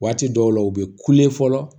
Waati dɔw la u bɛ fɔlɔ